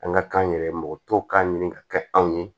An ka k'an yɛrɛ ye mɔgɔ tɔw k'a ɲini ka kɛ anw ye